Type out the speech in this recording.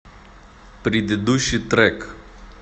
предыдущий трек